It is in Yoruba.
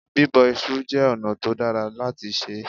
Bíbọ iṣu jẹ́ ọ̀nà tó dára láti sè é.